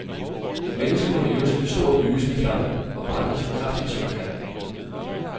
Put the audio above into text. Et menneske må leve som en stor, lysende flamme, og brænde så kraftigt, som han kan.